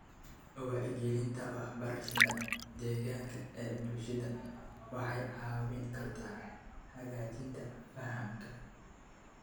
Wacyigelinta waxbarashada deegaanka ee bulshada waxay caawin kartaa hagaajinta fahamka.